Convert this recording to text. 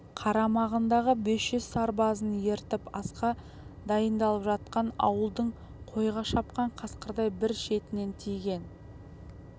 қарамағындағы бес жүз сарбазын ертіп асқа дайындалып жатқан ауылдың қойға шапқан қасқырдай бір шетінен тиген